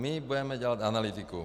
My budeme dělat analytiku.